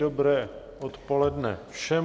Dobré odpoledne všem.